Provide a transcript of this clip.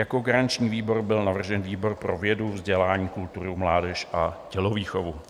Jako garanční výbor byl navržen výbor pro vědu, vzdělání, kulturu, mládež a tělovýchovu.